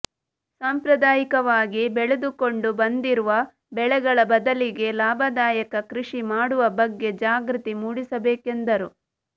ಸಾಂಪ್ರದಾಯಿಕವಾಗಿ ಬೆಳೆದುಕೊಂಡು ಬಂದಿರುವ ಬೆಳೆಗಳ ಬದಲಿಗೆ ಲಾಭದಾಯಕ ಕೃಷಿ ಮಾಡುವ ಬಗ್ಗೆ ಜಾಗೃತಿ ಮೂಡಿಸಬೇಕೆಂದರು